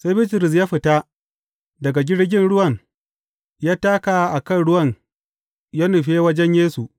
Sai Bitrus ya fita daga jirgin ruwan, ya taka a kan ruwan ya nufe wajen Yesu.